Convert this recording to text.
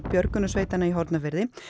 björgunarsveitanna í Hornafirði